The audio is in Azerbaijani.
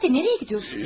Bu saatda hara gedirsən?